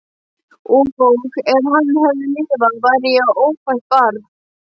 Og ef hann hefði lifað væri ég ófætt barn.